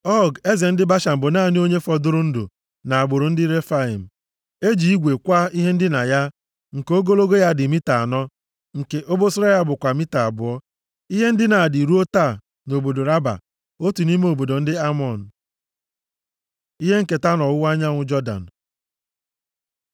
(Ọg, eze ndị Bashan bụ naanị onye fọdụrụ ndụ nʼagbụrụ ndị Refaim. E ji igwe kwaa ihe ndina ya, nke ogologo ya dị mita anọ, nke obosara ya bụkwa mita abụọ. Ihe ndina a dị ruo taa nʼobodo Raba, otu nʼime obodo ndị Amọn.) Ihe nketa nʼọwụwa anyanwụ Jọdan